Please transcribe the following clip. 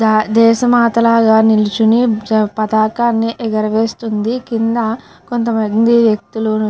దేశ మాత లాగా నించొని పతాకాన్ని ఎగరేస్తుంది. కింద కొంత మంది వ్యక్తులు --